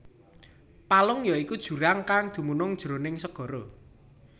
Palung ya iku jurang kang dumunung jroning segara